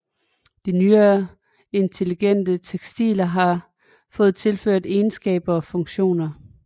De nyere intelligente tekstiler har fået tilført egenskaber og funktioner